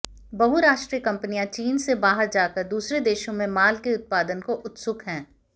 बहुराष्ट्रीय कंपनियां चीन से बाहर जाकर दूसरे देशों में माल के उत्पादन को उत्सुक हैं